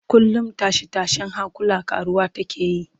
Kullum tashe-tashen hankula ƙaruwa take yi